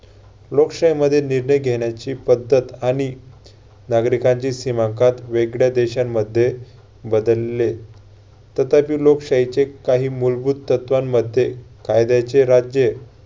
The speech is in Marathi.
लोकशाहीमध्ये निर्णय घेण्याची पद्धत आणि नागरिकांची सीमांकात वेगळ्या देशांमध्ये बदलले. तथापि लोकशाहीचे काही मूलभूत तत्वांमध्ये कायद्याचे राज्य